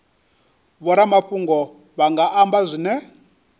vhoramafhungo vha nga amba zwine